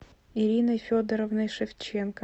ириной федоровной шевченко